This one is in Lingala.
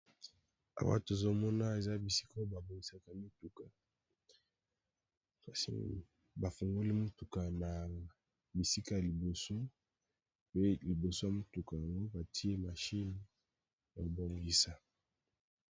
Awa tozomona eza bisika oo babongisaka mituka kasi bafungoli motuka na bisika ya liboso pe liboso ya motuka yango batie mashine ya kobongisa.